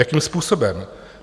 Jakým způsobem?